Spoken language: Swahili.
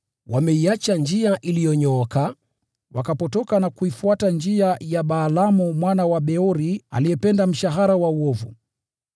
Wameiacha njia iliyonyooka, wakapotoka na kuifuata njia ya Balaamu mwana wa Beori aliyependa mshahara wa uovu.